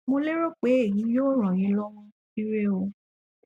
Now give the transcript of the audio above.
mo lérò pé èyí yóò ràn yín lọwọ ire o